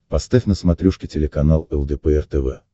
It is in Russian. поставь на смотрешке телеканал лдпр тв